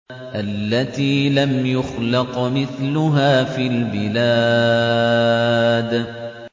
الَّتِي لَمْ يُخْلَقْ مِثْلُهَا فِي الْبِلَادِ